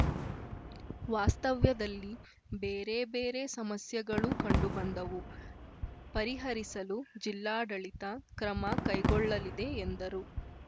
ವಾಸ್ತವ್ಯದಲ್ಲಿ ಬೇರೆ ಬೇರೆ ಸಮಸ್ಯೆಗಳೂ ಕಂಡುಬಂದವು ಪರಿಹರಿಸಲು ಜಿಲ್ಲಾಡಳಿತ ಕ್ರಮ ಕೈಗೊಳ್ಳಲಿದೆ ಎಂದರು